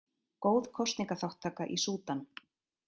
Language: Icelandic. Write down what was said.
Góð kosningaþátttaka í Súdan